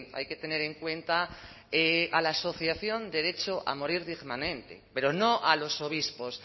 hay que tener en cuenta a la asociación derecho a morir dignamente pero no a los obispos